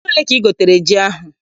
Ego ole ka I gotere ji ahụ?